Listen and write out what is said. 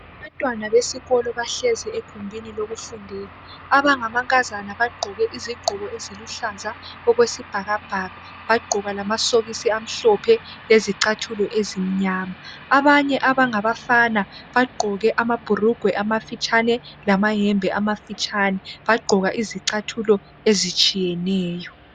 abantwana besikolo bahlezi egumbini lokufundela abangama nkazana bagqoke izigqoko eziluhlaza okwesibhakabhaka bagqoka lamasokisi amhlophe lezichathulo ezimnyama abanye abangabafana bagqoke ama bhulugwe amafitshane lama hembe ama fitshane bagqoka lezi chathulo ezitshiyeneyo